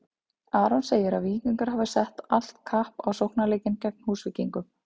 Aron segir að Víkingar hafi sett allt kapp á sóknarleikinn gegn Húsvíkingum.